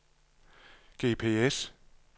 GPS